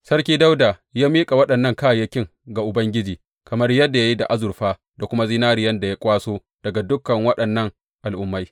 Sarki Dawuda ya miƙa waɗannan kayayyakin ga Ubangiji, kamar yadda ya yi da azurfa da kuma zinariyan da ya kwaso daga dukan waɗannan al’ummai.